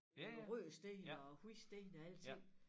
Nogle røde sten og hvide sten og alting